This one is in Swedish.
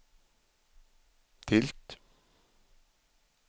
tilt